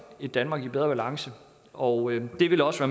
et danmark i bedre balance og det vil også